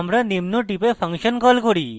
আমরা নিম্ন টিপে ফাংশন call করি